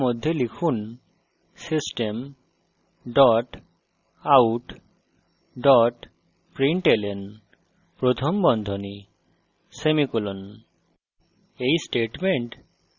তাই main মেথডের মধ্যে লিখুন system dot out dot println প্রথম বন্ধনী semicolon